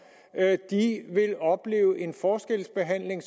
vil opleve en forskelsbehandling